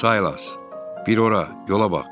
Saylas, bir ora yola bax!